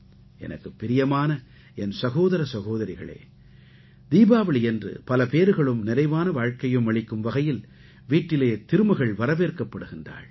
எனக்குப் பிரியமான என் சகோதர சகோதரிகளே தீபாவளியன்று பல பேறுகளும் நிறைவான வாழ்க்கையும் அளிக்கும் வகையில் வீட்டிலே திருமகள் வரவேற்கப்படுகிறாள்